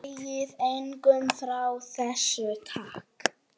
Segið engum frá þessu, takk.